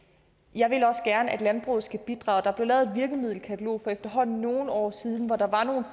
jeg vil også gerne at landbruget skal bidrage der blev lavet et virkemiddelkatalog for efterhånden nogle år siden hvor der var nogle